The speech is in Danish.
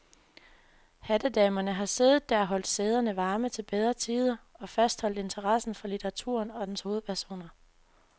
Hattedamerne har siddet der og holdt sæderne varme til bedre tider og fastholdt interessen for litteraturen og dens hovedpersoner.